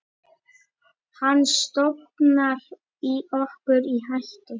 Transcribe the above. Hann stofnar okkur í hættu.